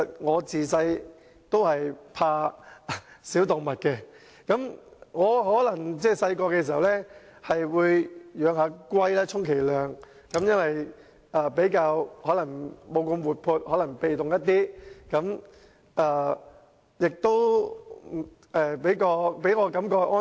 我自小便害怕小動物，小時候充其量只是養龜，因為龜不是那麼活潑，比較被動，給我的感覺較為安全。